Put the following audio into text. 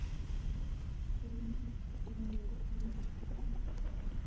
ஹம் சரி